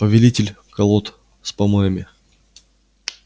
повелитель колод с помоями